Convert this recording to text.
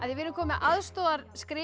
við erum komin með